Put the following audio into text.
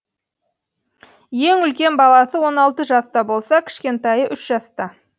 ең үлкен баласы он алты жаста болса кішкентайы үш жаста